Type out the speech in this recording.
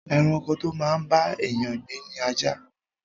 Ẹranko to máa ń bá èèyàn gbé ni ajá